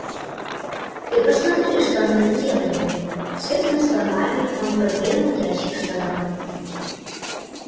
ты посмотри что они наделали с этими словами он подвинул ящик стола